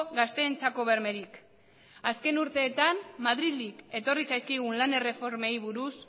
gazteentzako bermerik azken urteetan madrildik etorri zaizkigun lan erreformei buruz